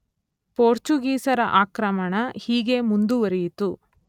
ಪೋರ್ಚುಗೀಸರ ಆಕ್ರಮಣ ಹೀಗೆ ಮುಂದುವರಿಯಿತು.